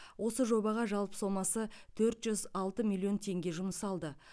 осы жобаға жалпы сомасы төрт жүз алты миллион теңге жұмсалды